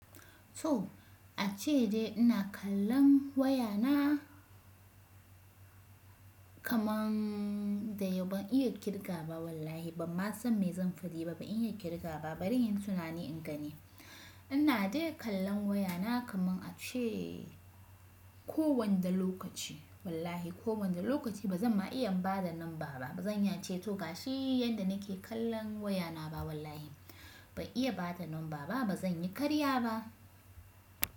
So ace dai ina kallon wayana kamar dai yau ban iya kirga ba wallahi. Ban ma san me zan faɗi ba, ban iya kirga ba. Bari in yi tunani in gani. Ina dai kallon wayana kaman ace kowanda lokaci. Wallahi kowanda lokaci ba zan ma iya bada nan ba ba. Ba zan yance tog shi yanda nake kallon wayana ba wallahi. Ban iya bada nan ba ba. Ba zan yi karya ba.